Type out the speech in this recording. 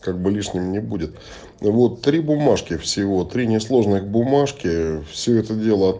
как бы лишним не будет вот три бумажки всего три несложных бумажки все это дело